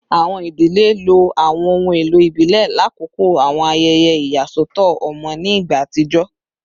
Awọn idile lo awọn ohun elo ibile lakoko awọn ayẹyẹ iyasọtọ ọmọ ni igba atijọ